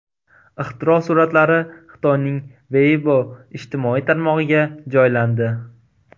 Ixtiro suratlari Xitoyning Weibo ijtimoiy tarmog‘iga joylandi.